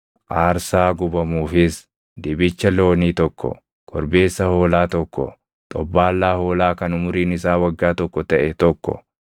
aarsaa gubamuufis dibicha loonii tokko, korbeessa hoolaa tokko, xobbaallaa hoolaa kan umuriin isaa waggaa tokko taʼe tokko,